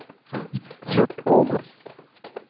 Curt Åman